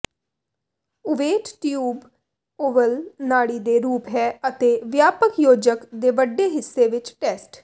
ਓਵੇਟ tube ਓਵਲ ਨਾੜੀ ਦੇ ਰੂਪ ਹੈ ਅਤੇ ਵਿਆਪਕ ਯੋਜਕ ਦੇ ਵੱਡੇ ਹਿੱਸੇ ਵਿੱਚ ਟੈਸਟ